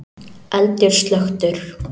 Eldur slökktur